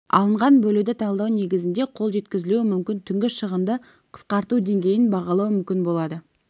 алынған бөлуді талдау негізінде қол жеткізілуі мүмкін түнгі шығынды қысқарту деңгейін бағалауы мүмкін болады